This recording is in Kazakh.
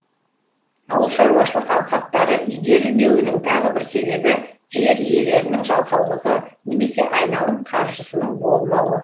ауылшаруашылық алқаптары игерілмеуінің тағы бір себебі жер иелерінің жалқаулығы немесе айналым қаржысының болмауы